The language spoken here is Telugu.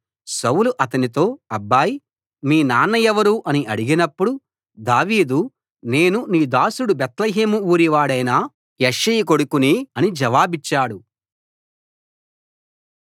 సౌలు అతనితో అబ్బాయ్ మీ నాన్న ఎవరు అని అడిగినప్పుడు దావీదు నేను నీ దాసుడు బేత్లెహేము ఊరి వాడైన యెష్షయి కొడుకుని అని జవాబిచ్చాడు